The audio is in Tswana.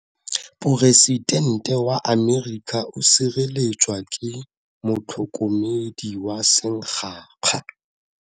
Poresitente wa Amerika o sireletswa ke motlhokomedi wa sengaga.